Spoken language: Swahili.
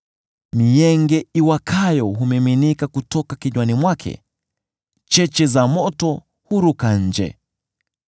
Mienge iwakayo humiminika kutoka kinywani mwake; cheche za moto huruka nje.